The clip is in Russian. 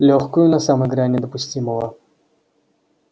лёгкую на самой грани допустимого